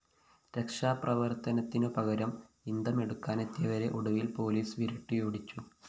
രക്ഷാപ്രവര്‍ത്തനത്തിനു പകരം ഇന്ധമെടുക്കാനെത്തിയവരെ ഒടുവില്‍ പോലീസ്‌ വിരട്ടിയോടുച്ചു